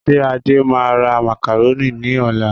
Ṣé Adé máa ra macaroni ní ọ̀la?